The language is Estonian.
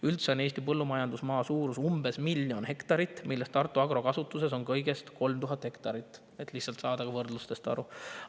Üldse on Eesti põllumajandusmaa suurus umbes miljon hektarit, millest Tartu Agro kasutuses on kõigest 3000 hektarit – et lihtsalt võrdlusest aru saada.